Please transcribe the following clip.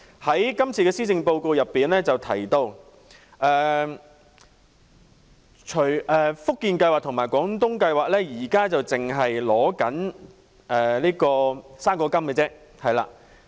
在這份施政報告中提到，"福建計劃"和"廣東計劃"目前只容許長者跨境支取"生果金"。